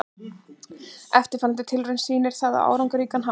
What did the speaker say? Eftirfarandi tilraun sýnir það á áhrifaríkan hátt.